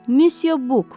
Misya Buq.